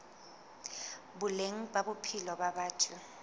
boleng ba bophelo ba batho